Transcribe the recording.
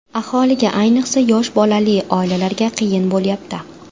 Aholiga, ayniqsa, yosh bolali oilalarga qiyin bo‘lyapti.